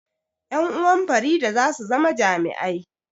Ƴan uwan Farida za su zama jami'ai